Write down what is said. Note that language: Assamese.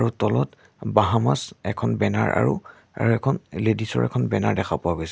আৰু তলত বাহামাছ এখন বেনাৰ আৰু আৰু এখন লেডিছ ৰ এখন বেনাৰ দেখা পোৱা গৈছে।